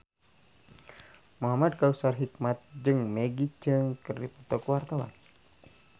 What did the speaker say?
Muhamad Kautsar Hikmat jeung Maggie Cheung keur dipoto ku wartawan